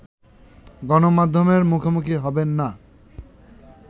গণমাধ্যমের মুখোমুখি হবেন না